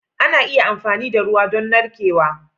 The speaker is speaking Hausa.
Ana iya amfani da ruwa don narkewa.